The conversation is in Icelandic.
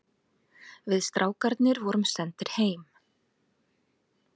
Við strákarnir vorum sendir heim.